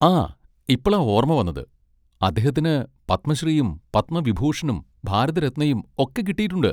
ആ ഇപ്പളാ ഓർമ്മ വന്നത്, അദ്ദേഹത്തിന് പദ്മ ശ്രീയും പദ്മ വിഭൂഷണും ഭാരത് രത്നയും ഒക്കെ കിട്ടിയിട്ടുണ്ട്